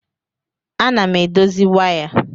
Ana m edozi waya.